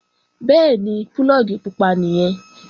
Bẹ́ẹ̀ni, púlọ̀gì pupa nìyẹn